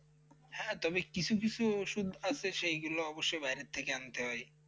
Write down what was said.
হ্যাঁ, তবে কিছু কিছু ঔষধ থাকে, সেগুলো অবশ্যই বাইরে থেকে আনতে হয়।